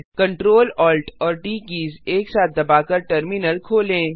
Ctrl Alt और T keys एक साथ दबाकर टर्मिनल खोलें